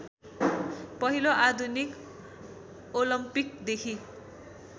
पहिलो आधुनिक ओलम्पिकदेखि